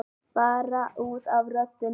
Bara út af röddinni.